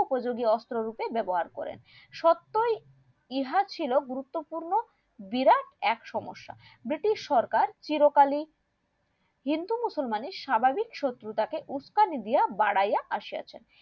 উপযুগীও অস্ত্র রূপে ব্যবহার করেন সবটাই ইহা ছিল গুরুত্বপূর্ণ বিরাট এক সমস্যা ব্রিটিশ সরকার চিরকালই হিন্দু মসুওলমানের স্বাভাবিক শত্রুতাকে উস্কানি দিয়া বাড়াইয়া আসিয়াছেন